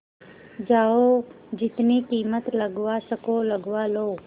जाओ जितनी कीमत लगवा सको लगवा लो